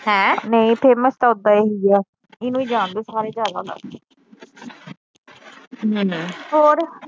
ਨਹੀਂ ਫੇਮਸ ਤਾ ਓਦਾਂ ਇਹੀ ਆ। ਇਹਨੂੰ ਈ ਜਾਂਦੇ ਸਾਰੇ ਜਿਆਦਾ ਤਾ